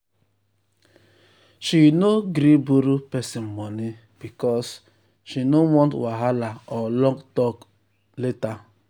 she no gree borrow person money because she no because she no want wahala or long talk um later.